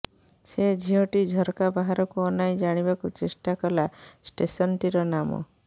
ସେ ଝିଅଟି ଝରକା ବାହାରକୁ ଅନାଇ ଜାଣିବାକୁ ଚେଷ୍ଟା କଲା ଷ୍ଟେସନଟିର ନାମ